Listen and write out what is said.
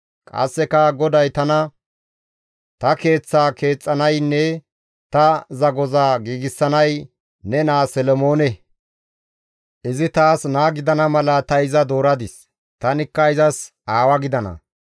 «Qasseka GODAY tana, ‹Ta Keeththaa keexxanaynne ta zagoza giigsanay ne naa Solomoone; izi taas naa gidana mala ta iza dooradis; tanikka izas aawa gidana.